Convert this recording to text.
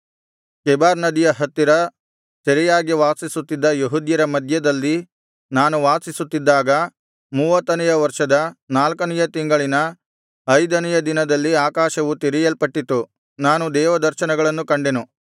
Chebar ನದಿಯ ಹತ್ತಿರ ಸೆರೆಯಾಗಿ ವಾಸಿಸುತ್ತಿದ್ದ ಯೆಹೂದ್ಯರ ಮಧ್ಯದಲ್ಲಿ ನಾನು ವಾಸಿಸುತ್ತಿದ್ದಾಗ ಮೂವತ್ತನೆಯ ವರ್ಷದ ನಾಲ್ಕನೆಯ ತಿಂಗಳಿನ ಐದನೆಯ ದಿನದಲ್ಲಿ ಆಕಾಶವು ತೆರೆಯಲ್ಪಟ್ಟಿತು ನಾನು ದೇವ ದರ್ಶನಗಳನ್ನು ಕಂಡೆನು